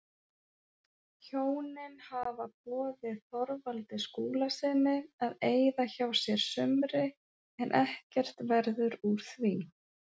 Hjónin hafa boðið Þorvaldi Skúlasyni að eyða hjá sér sumri en ekkert verður úr því.